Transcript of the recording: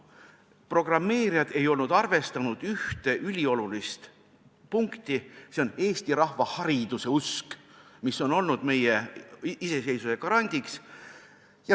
Programmeerijad ei olnud arvestanud ühte üliolulist punkti: see on eesti rahva hariduseusk, mis on olnud meie iseseisvuse garant.